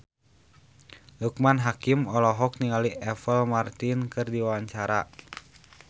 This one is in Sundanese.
Loekman Hakim olohok ningali Apple Martin keur diwawancara